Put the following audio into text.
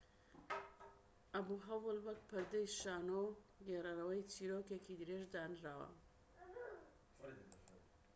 ئەبوهەول وەک پەردەی شانۆ و گێڕەرەوەی چیرۆکێکی درێژ دانراوە‎